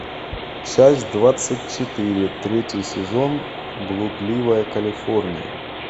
часть двадцать четыре третий сезон блудливая калифорния